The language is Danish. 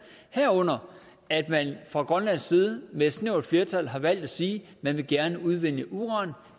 herunder at man fra grønlands side med et snævert flertal har valgt at sige at man gerne vil udvinde uran